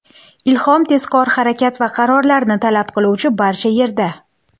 Ilhom tezkor harakat va qarorlarni talab qiluvchi barcha yerda.